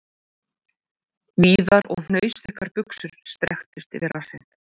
Víðar og hnausþykkar buxur strekktust yfir rassinn..